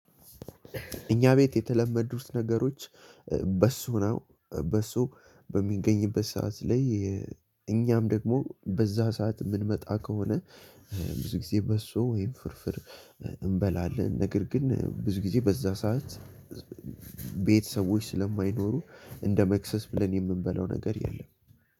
እኛ ቤት የተለመዱት ነገሮች በሶ ነው በሶ በሚገኝበት ሰዓት ላይ። እኛም ደግሞ በዛ ሰዓት የምንመጣ ከሆነ ብዙ ጊዜ በሶ ወይም ፍርፍር እንበላለን። ነገር ግን ብዙ ጊዜ በዛ ሰዓት። ቤት ሰዎች ስለማይኖሩ እንደ መክሰስ ብለን የምንበለው ነገር የለም።